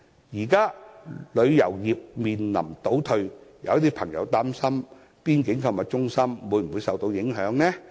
現時，旅遊業面臨倒退，有朋友擔心邊境購物中心會否受到影響。